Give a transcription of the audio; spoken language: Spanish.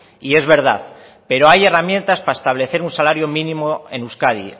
y es verdad pero hay herramientas para establecer un salario mínimo en euskadi